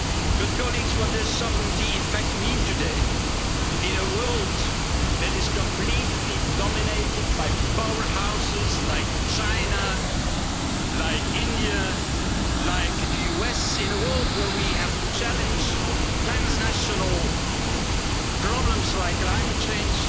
But colleagues, what does sovereignty' in fact mean today, in a world that is completely dominated by powerhouses like China, like India, like the US in a world where we have to challenge transnational problems like climate change